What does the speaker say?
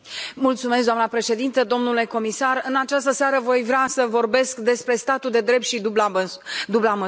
Doamnă președintă, domnule comisar, în această seară voi vrea să vorbesc despre statul de drept și dubla măsură.